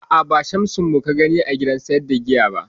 A'a, ba Shamsu mu ka gani a gidan sayar da giya ba